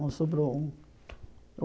Não sobrou um.